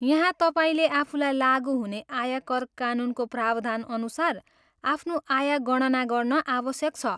यहाँ तपाईँले आफूलाई लागु हुने आयकर कानुनको प्रावधानअनुसार आफ्नो आय गणना गर्न आवश्यक छ।